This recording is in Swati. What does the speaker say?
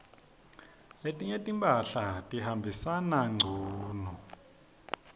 letinye timphahla tihambisana ngcunu